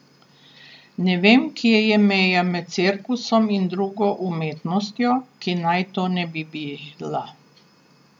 Ne vem, kje je meja med cirkusom in drugo umetnostjo, ki naj to ne bi bila.